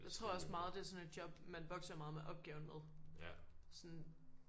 Jeg tror også meget det er sådan et job man vokser meget med opgaven med sådan